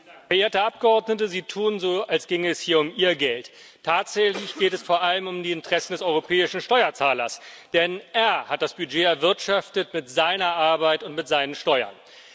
Frau Präsidentin! Verehrte Abgeordnete, Sie tun so, als ginge es hier um Ihr Geld. Tatsächlich geht es vor allem um die Interessen des europäischen Steuerzahlers, denn er hat das Budget erwirtschaftet, mit seiner Arbeit und mit seinen Steuern.